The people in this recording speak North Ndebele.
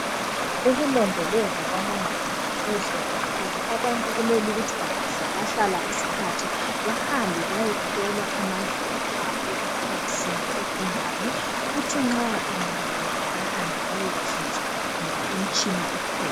Ukulondolozwa kwamazinyo kuhle kakhulu abantu kumele ukuthi bangahlalahlala isikhathi bahambe bayehlolwa amazinyo abo ukuthi akusimo isinjani kuthi nxa engabola behambe bayekhitshwa ngoba imitshina ukhona.